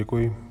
Děkuji.